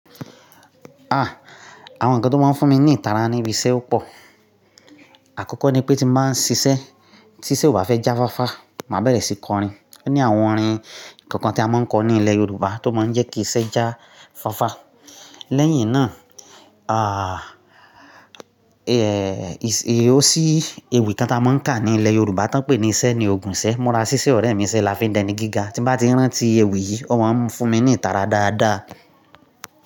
Ah! Àwọn ǹkan tó máa ń fún mi ní ìtara ni ibi iṣẹ́ ò pọ̀. Àkọ́kọ́ ní pé tí máa ń ṣiṣẹ́, tíṣẹ́ ò bá fẹ́ já fáfá, máa bẹ̀rẹ̀ sí kọrin. Ó ní àwọn orin kọ̀ọ̀kan tí a máa ń kọ ní ilẹ̀ Yorùbá tó máa ń jẹ́ kí iṣẹ́ já fáfá. Lẹ́yìn náà, ah, èyí ó sì ewì kan tí a máa ń kà ní ilẹ̀ Yorùbá tí wọ́n ń pè ní Ṣẹ́ ní ogun ṣẹ. Mura ṣíṣe ọ̀rẹ́ mi iṣẹ́ lafi dẹni gíga. Tí bá ti rántí ewì yìí, o máa ń fún mi ní ìtara dáadáa.